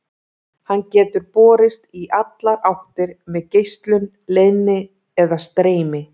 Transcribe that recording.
Hann getur borist í allar áttir með geislun, leiðni eða streymi.